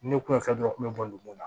Ne kun ye fɛn dɔn u kun bɛ bɔ dugu la